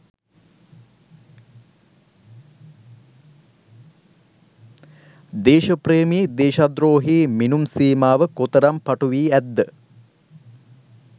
දේශප්‍රේමී දේශද්‍රෝහී මිනුම් සීමාව කොතරම් පටු වී ඇත්ද?